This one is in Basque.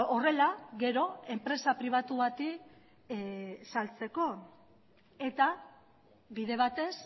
horrela gero enpresa pribatu bati saltzeko eta bide batez